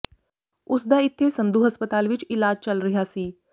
ਉਸਦਾ ਇੱਥੇ ਸੰਧੂ ਹਸਪਤਾਲ ਵਿੱਚ ਇਲਾਜ ਚੱਲ ਰਿਹਾ ਸੀ